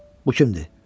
Bu kimdir?